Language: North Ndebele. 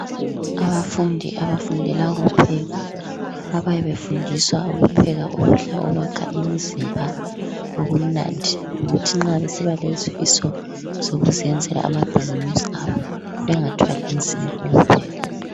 Abafundi abafundela ukupheka abayabe befundiswa ukupheka ukudla okwakha imizimba okumnandi; ukuthi nxa besibalezifiso zokuziyenzela ama-business abo, bengathwali nzima ukupheka.